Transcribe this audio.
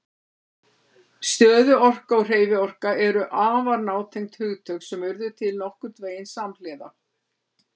Stöðuorka og hreyfiorka eru afar nátengd hugtök sem urðu til nokkurn veginn samhliða.